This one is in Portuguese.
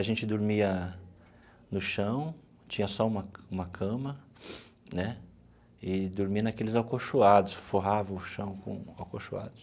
A gente dormia no chão, tinha só uma uma cama né, e dormia naqueles acolchoados, forrava o chão com acolchoados.